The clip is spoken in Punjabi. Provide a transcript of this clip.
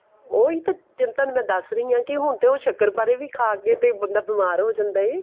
ਉਹੀ ਤਾਂ ਚਿੰਤਾਂ ਮੈਂ ਦੱਸ ਰਹੀ ਹਾਂ ਕਿ ਹੁਣ ਤੇ ਉਹ ਸ਼ੱਕਰਪਾਰੇ ਵੀ ਖਾਂਕੇ ਤੇ ਬੰਦਾ ਬੀਮਾਰ ਹੋ ਜਾਂਦਾ ਏ